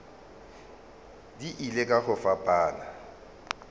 di ile ka go fapana